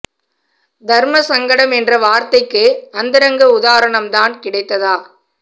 தர்ம சங்கடம் என்ற வார்த்தைக்கு அந்தரங்க உதாரணம் தான் கிடைத்ததா